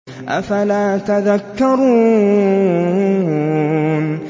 أَفَلَا تَذَكَّرُونَ